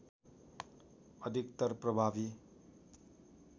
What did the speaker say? अधिकतर प्रभावी